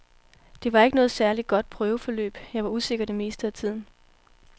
Det var ikke noget særlig godt prøveforløb, jeg var usikker det meste af tiden.